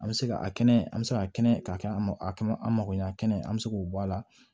An bɛ se ka a kɛnɛ an bɛ se ka kɛnɛ ka kɛ an ma a kɛ an mago ɲan a kɛnɛ an bɛ se k'o bɔ a la